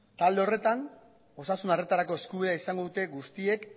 talde horretan osasun arretarako eskubidea izango dute guztiek